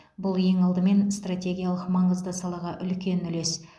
бұл ең алдымен стратегиялық маңызды салаға үлкен үлес